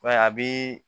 a bi